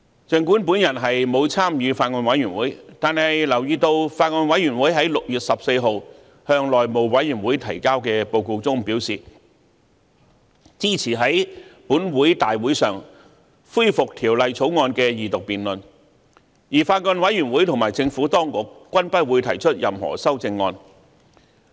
儘管我沒有參與法案委員會，但留意到法案委員會在6月14日向內務委員會提交的報告中表示，支持在立法會大會上恢復《條例草案》的二讀辯論，而法案委員會和政府當局均不會提出任何修正案。